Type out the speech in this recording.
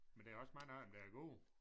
Men der er også mange af dem der er gode